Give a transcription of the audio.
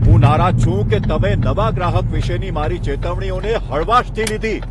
હું નારાજ છું કે તમે નવા ગ્રાહક વિશેની મારી ચેતવણીઓને હળવાશથી લીધી.